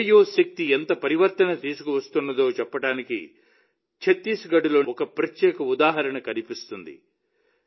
radio శక్తి ఎంత పరివర్తన తీసుకువస్తుందో చెప్పడానికి ఛత్తీస్గఢ్లో ఒక ప్రత్యేక ఉదాహరణ కనిపిస్తుంది